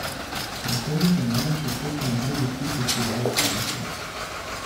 Prestolnica namreč od petka naprej gosti festival salse.